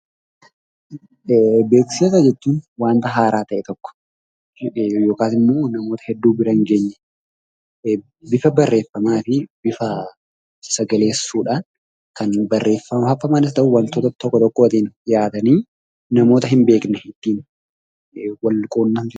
Beeksisa jechuun waanta haaraa ta'e tokko yookaas immoo namoota hedduu biraa hin geenyee bifa barreffamaatiin, bifa sagaleessuudhaan kan barreeffama waantoota tokko tokkoon dhiyaatanii namoota hin beekne ittin wal quunamsisan.